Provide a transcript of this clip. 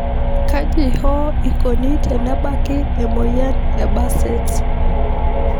kaji hoo ikoni tenebaki emoyian Behcets